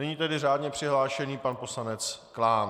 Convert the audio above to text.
Nyní tedy řádně přihlášený pan poslanec Klán.